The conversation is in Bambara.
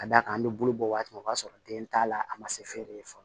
Ka d'a kan an bɛ bulu bɔ waati min o b'a sɔrɔ den t'a la a ma se feere ye fɔlɔ